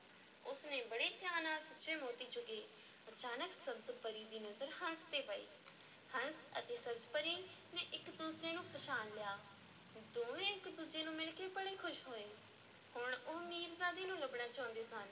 ਉਸ ਨੇ ਬੜੇ ਚਾਅ ਨਾਲ ਸੁੱਚੇ ਮੋਤੀ ਚੁਗੇ, ਅਚਾਨਕ ਸਬਜ਼-ਪਰੀ ਦੀ ਨਜ਼ਰ ਹੰਸ ’ਤੇ ਪਈ, ਹੰਸ ਅਤੇ ਸਬਜ਼-ਪਰੀ ਨੇ ਇੱਕ ਦੂਜੇ ਨੂੰ ਪਛਾਣ ਲਿਆ, ਦੋਵੇਂ ਇੱਕ ਦੂਜੇ ਨੂੰ ਮਿਲ ਕੇ ਬੜੇ ਖ਼ੁਸ਼ ਹੋਏ, ਹੁਣ ਉਹ ਮੀਰਜ਼ਾਦੇ ਨੂੰ ਲੱਭਣਾ ਚਾਹੁੰਦੇ ਸਨ।